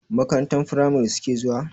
Makarantar firamari suke zuwa?